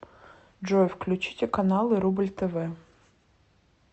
джой включите каналы рубль тв